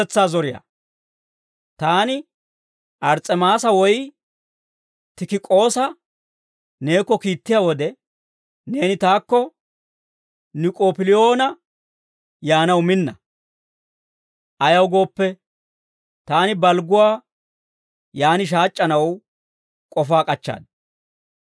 Taani Ars's'emaasa woy Tikik'oosa neekko kiittiyaa wode, neeni taakko Nik'oop'iliyoona yaanaw minna. Ayaw gooppe, taani balgguwaa yaan shaac'c'anaw k'ofaa k'achchaad.